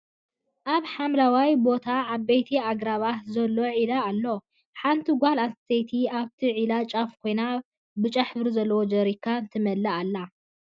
ኣብ ሓምለዋይ ቦታን ዓበይቲ ኣግራባትንዘሎ ዒላ ኣሎ። ሓንቲ ጎል ኣንስትየቲ ኣብቲ ዒላ ጫፍ ኮይና ብጫ ሕብሪ ዘለዎ ጀሪካን ትመልእ ኣላ።